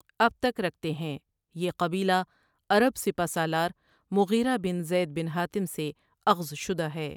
اب تک رکھتے ہیں یہ قبیلہ عرب سپہ سالار مغیرہ بن زید بن ھاتم سے اخذ شدہ ہے ۔